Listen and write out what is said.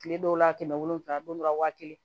Kile dɔw la kɛmɛ wolonwula don dɔ la waa kelen